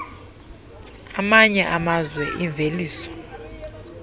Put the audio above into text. amanye amazwe imveliso